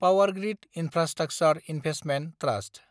power grid infrastructure investment trust